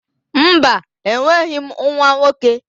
Mba, enweghị m nwa nwoke.